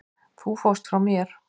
Þú fórst frá mér.